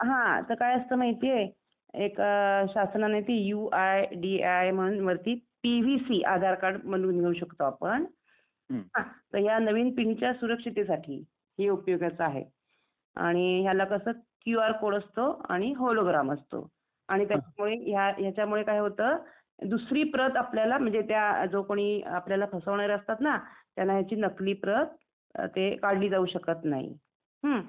तर काय असतं माहिती आहे? एक शासनाने ते यु आय डी आय म्हणून वरती पीव्हीसी आधार कार्ड बनवून घेऊ शकतो आपण तर या नवीन पिनच्या सुरक्षिततेसाठी हे उपयोगाचं आहे आणि ह्याला कसं क्यूआर कोड असतो आणि होलोग्राम असतो. आणि ह्याच्या मुळे काय होतं दुसरी प्रत आपल्याला म्हणजे त्या जो कोणी आपल्याला फसवणारे असतात ना त्यांना ह्याची आपली याची नकली प्रत काढली जाऊ शकत नाही. हम्म ?